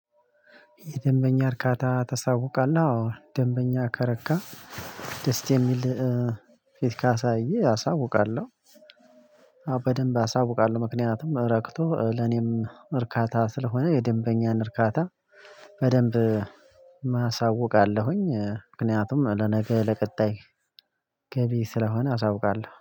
የደንበኛ እርካታ ተሳውቃለሁ ደንበኛ ከረካ ደስ የሚል ፊት ካሳዬ አሳውቃለሁ። በደንብ አሳውቃለሁ ምክንያቱም ረክቶ ለኔም እርካታ ስለሆነ የደንበኛን እርካታ በደንብ አሳውቃለሁኝ ምክንያቱም ለነገ ለቀጣይ ገቢ ስለሆነ አሳውቃለሁ